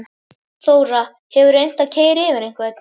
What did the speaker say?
Þóra: Hefurðu reynt að keyra yfir einhvern?